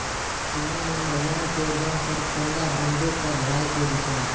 सेना में महिलाओं के योगदान पर पद्मा बंदोपाध्याय के विचार